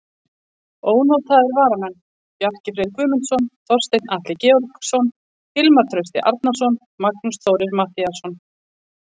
Ónotaðir varamenn: Bjarki Freyr Guðmundsson, Þorsteinn Atli Georgsson, Hilmar Trausti Arnarsson, Magnús Þórir Matthíasson.